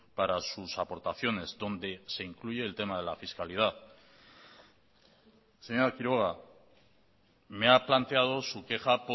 para sus aportaciones donde se incluye el tema de la fiscalidad señora quiroga me ha planteado su queja